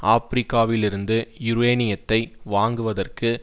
ஆபிரிக்காவிலிருந்து யுரேனியத்தை வாங்குவதற்கு